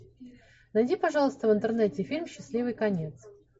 найди пожалуйста в интернете фильм счастливый конец